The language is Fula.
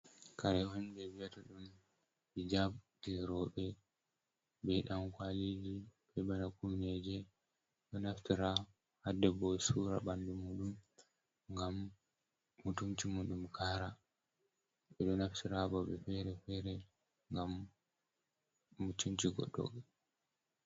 Kare on ɓe vi'ata ɗum hijab je rowɓe be ɗan kwaliji be bana kumneje, ɗo naftira ha debbo sura ɓandu muɗum ngam mutunci muɗum Kara. Ɓe ɗo naftira ha babe fere-fere ngam mutunci goɗɗo.